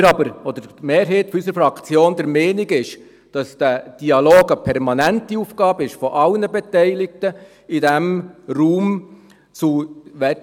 Die Mehrheit unserer Fraktion ist jedoch der Meinung, dass dieser Dialog eine permanente Aufgabe aller Beteiligter in diesem Raum ist.